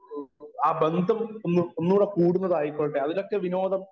speaker 1 ആ ബന്ധം ഒന്ന് ഒന്നൂടെ കൂടുന്നതായിക്കൊള്ളട്ടെ അതിലൊക്കെ വിനോദം